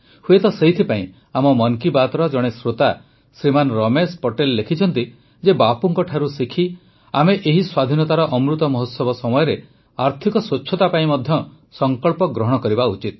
ହୁଏତ ସେଇଥିପାଇଁ ଆମ ମନ୍ କି ବାତ୍ର ଜଣେ ଶ୍ରୋତା ଶ୍ରୀମାନ ରମେଶ ପଟେଲ ଲେଖିଛନ୍ତି ଯେ ବାପୁଙ୍କଠାରୁ ଶିଖି ଆମେ ଏହି ସ୍ୱାଧୀନତାର ଅମୃତ ମହୋତ୍ସବ ସମୟରେ ଆର୍ଥିକ ସ୍ୱଚ୍ଛତା ପାଇଁ ମଧ୍ୟ ସଂକଳ୍ପ ଗ୍ରହଣ କରିବା ଉଚିତ